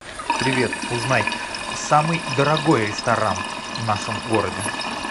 привет узнай самый дорогой ресторан в нашем городе